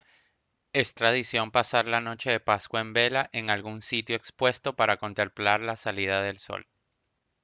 es tradición pasar la noche de pascua en vela en algún sitio expuesto para contemplar la salida del sol